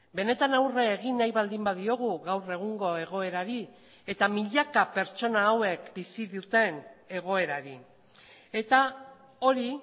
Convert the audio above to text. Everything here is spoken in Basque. benetan aurre egin nahi baldin badiogu gaur egungo egoerari eta milaka pertsona hauek bizi duten egoerari eta hori